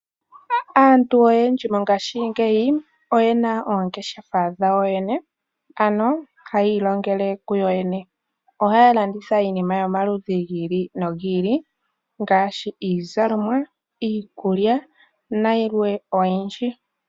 Aantu oyendji mongaashingeyi oyena oongeshefa dhawo yene, ano hayi ilongele ku yoyene. Ohaya landitha iinima yomaludhi gi ili nogi ili ngaashi iizalomwa, iikulya nayilwe oyindji.